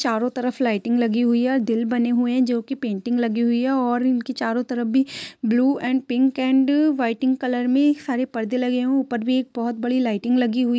चारों तरफ लाइटिंग लगी हुई है और दिल बने हुए है जो कि पेंटिंग लगी हुई है और इनके चारों तरफ भी blue and pink and whiting colour में हरे परदे लगे हुए हैं ऊपर भी एक बहुत बड़ी लाइटिंग लगी हुई --